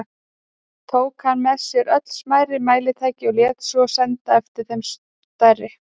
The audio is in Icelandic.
Tók hann með sér öll smærri mælitæki og lét svo senda eftir þeim stærri.